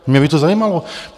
Mě by to zajímalo.